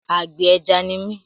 Àgbẹ̀ ẹja ni mí.